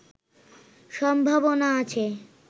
সম্ভাবনা আছে